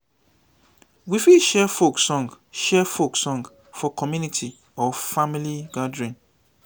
we fit share folk song share folk song for community or family gathering